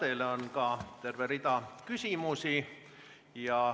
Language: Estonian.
Teile on terve rida küsimusi.